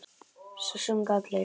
Svo sungu allir.